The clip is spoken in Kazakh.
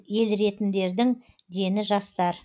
еліретіндердің дені жастар